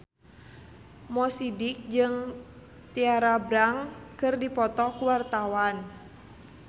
Mo Sidik jeung Tyra Banks keur dipoto ku wartawan